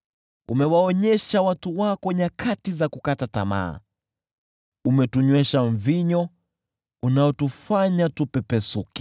Umewaonyesha watu wako nyakati za kukata tamaa; umetunywesha mvinyo unaotuyumbisha.